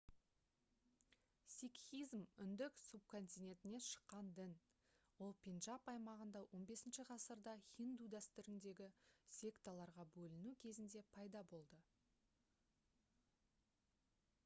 сикхизм үнді субконтинентінен шыққан дін ол пенджаб аймағында 15-ғасырда хинду дәстүріндегі секталарға бөліну кезінде пайда болды